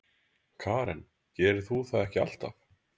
Karen: Gerir þú það ekki alltaf?